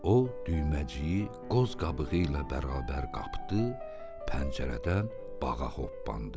O düyməciyi qoz qabığı ilə bərabər qapdı, pəncərədən bağa hoppandı.